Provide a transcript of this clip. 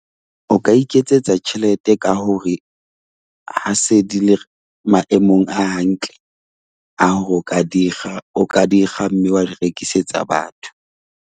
O ka iketsetsa tjhelete ka hore ha se di le maemong a hantle a hore o ka di kga, o ka di kga mme wa di rekisetsa batho.